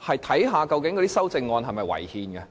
看看那些修正案是否違憲。